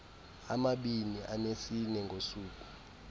amabini anesine ngosuku